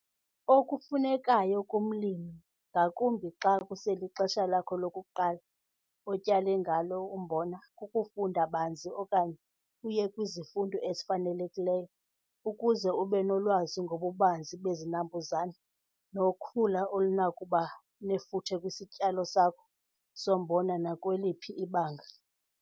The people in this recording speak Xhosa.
Okufunekayo kumlimi, ngakumbi xa kuselixesha lakho lokuqala otyale ngalo umbona, kukufunda banzi okanye uye kwizifundo ezifanelekileyo ukuze ube nolwazi ngobubanzi bezinambuzane nokhula olunokuba nefuthe kwisityalo sakho sombona nakweliphi ibanga.